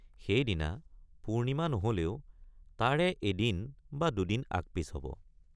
সেইদিনা পূৰ্ণিমা নহলেও তাৰে এদিন বা দুদিন আগপিচ হব।